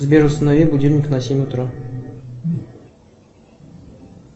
сбер установи будильник на семь утра